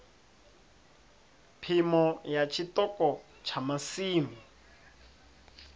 phimo ya tshiṱoko tsha masimu